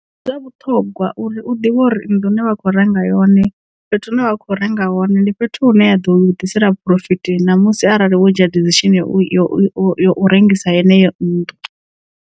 Ndi zwa vhuṱhogwa uri u ḓivhe uri nnḓu ine vha kho renga yone fhethu hune vha kho renga hone ndi fhethu hune ya ḓo vha ḓisela phurofiti namusi arali musi arali wo dzhia decision ya u yo u rengisa heneyo nnḓu.